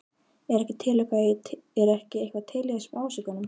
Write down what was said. Er ekki eitthvað til í þessum ásökunum?